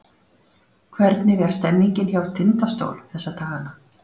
Hvernig er stemningin hjá Tindastól þessa dagana?